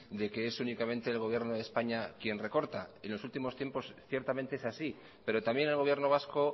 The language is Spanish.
de que es únicamente el gobierno de españa quien recorta y en los últimos tiempos ciertamente es así pero también el gobierno vasco